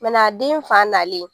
den fa nalen